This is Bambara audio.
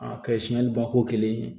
A kɛ siɲɛ ni bako kelen ye